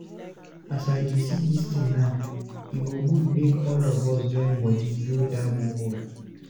As I dey see dis tin now, e go good make all of us join body build dat borehole.